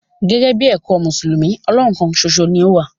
Gẹ̀gẹ̀bí èkọ̀ Musulumi, Ọlọ́hùn kán sòṣo ni o wà.